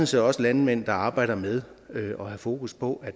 set også landmænd der arbejder med at have fokus på